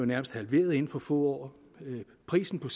nærmest halveret inden for få år prisen på